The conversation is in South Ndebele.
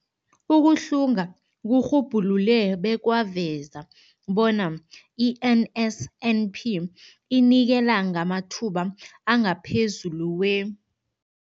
Ukuhlunga kurhubhulule bekwaveza bona i-NSNP inikela ngamathuba angaphezulu kwe-